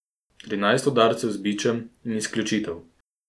Trinajst udarcev z bičem in izključitev.